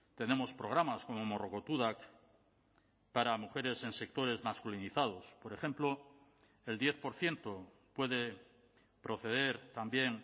tenemos programas como morrokotudak para mujeres en sectores masculinizados por ejemplo el diez por ciento puede proceder también